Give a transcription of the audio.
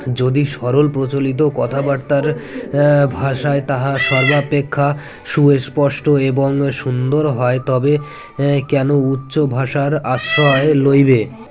যদি সরল প্রচলিত কথাবার্তার ভাষায় তাহা সর্বাপেক্ষা সুএস্পষ্ট এবং সুন্দর হয় তবে কেন উচ্চ ভাষার আশ্রয় লইবে